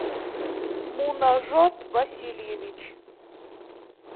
мунажот васильевич